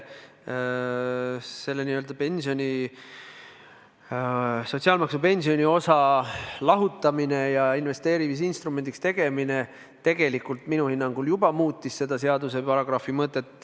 Sotsiaalmaksu pensioniosa lahutamine ja investeerimisinstrumendiks tegemine minu hinnangul juba muutis seaduse selle paragrahvi mõtet.